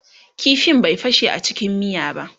ƙifin bai fashe a cikin miya ba